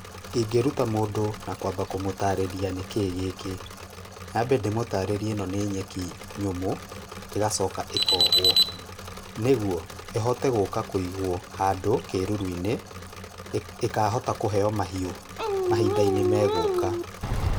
Ingĩruta mũndũ na kwamba kũmũtarĩria nĩ kĩ gĩkĩ. Nyambe ndĩmũtarĩrie ĩno nĩ nyeki nyũmũ, ĩgacoka ĩkohwo, nĩguo ĩhote gũka kũigwo handũ kĩruru-inĩ, ĩkahota kũheo mahiũ mahinda-inĩ megũka.